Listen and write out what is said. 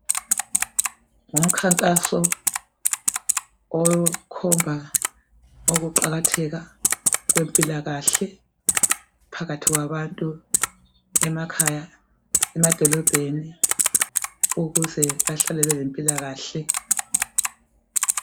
Ngumkhankaso wokukhomba ukuqakathela kwempilakahle phakathi kwabantu emakhaya, emadolobheni ukuze bahlale belempilakahle.